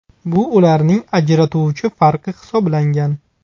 Bu ularning ajratuvchi farqi hisoblangan.